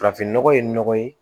Farafinnɔgɔ ye nɔgɔ ye